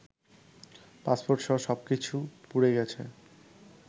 পাসপোর্টসহ সব কিছু পুড়ে গেছে